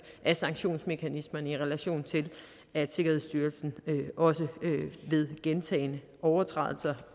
af sanktionsmekanismerne i relation til at sikkerhedsstyrelsen også ved gentagne overtrædelser